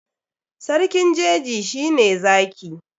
Sarkin jeji shi ne Zaki.